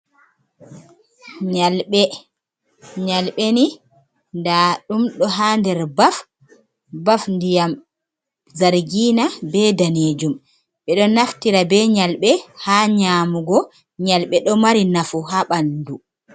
Nyalɓe. Nyalɓe ni, ndaɗum ɗo ha nder baf, baf ndiyam Zargina be Danejum. Beɗo naftira be Nyalɓe ha nyamugo. Nyalɓe ɗo mari nafu ha ɓandu.